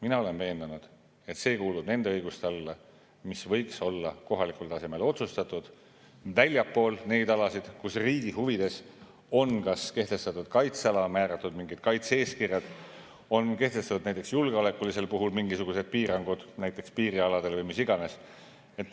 Mina olen veendunud, et see kuulub nende õiguste alla, mis võiks olla kohalikul tasemel otsustatud, ja seda väljaspool neid alasid, kus riigi huvides on kas kehtestatud kaitseala, määratud mingid kaitse-eeskirjad, on kehtestatud näiteks julgeoleku eesmärgil mingisugused piirangud piirialadel või mis iganes.